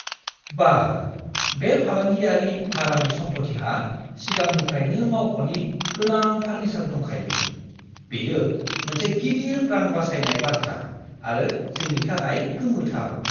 बाह! बे फालांगियारि भारानि सम्पथिहा सिगांनिफ्रायनो मावख'नि गोनां फार्निसार दंखायो; बेयो मोनसे गिदिर रां बासायनाय बाथ्रा आरो जोंनि थाखाय गोमोथाव!